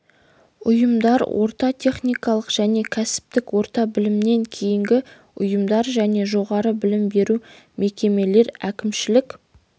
ұйымдар орта техникалық және кәсіптік орта білімнен кейінгі ұйымдар және жоғары білім беру мекемелер әкімшілік